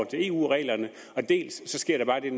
til eu reglerne dels sker der bare det